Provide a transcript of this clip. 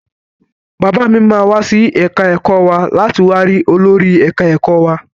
Bàbá mi máa wá sí ẹ̀ka ẹ̀kọ́ wa láti wá ri olórí ẹ̀ka ẹ̀kọ́ wa.